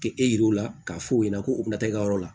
K'e jira u la k'a fɔ o ɲɛna ko u bɛna taa e ka yɔrɔ la